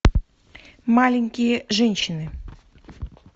маленькие женщины